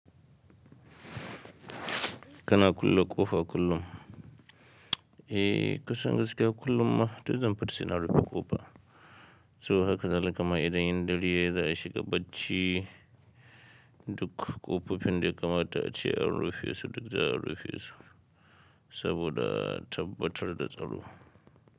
Kana kulle ƙofa kullum? Eh, kusan gaskiya kullum ma, duk zan fata suna rufe ƙofa. To haka zai halikama idan yin dare yayi za a shiga bacci, duk ƙofofin da ya kamata a ce an rufe su duk za a rufe su saboda tabbatar da tsaro.